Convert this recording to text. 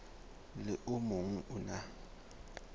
le o mong o na